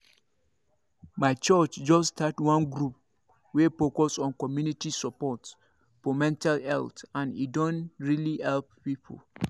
my church just start one group wey focus on community support for mental health and e don really help people